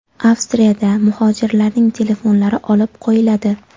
Avstriyada muhojirlarning telefonlari olib qo‘yiladi.